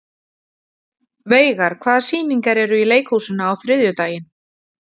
Veigar, hvaða sýningar eru í leikhúsinu á þriðjudaginn?